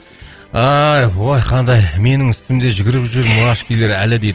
ай ой қандай менің үстімде жүгіріп жүр мурашкилер әлі дейді